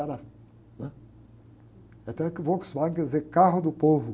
né? Até o Volkswagen quer dizer carro do povo.